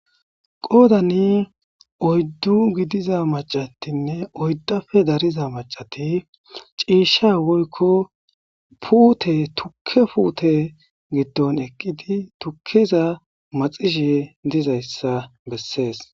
qoodani oyddu gidiza macatinne oyddafe dariza macati ciishsha woykko puute tukke puute giddon eqqidi tukkeza maxishe dizayssa bessees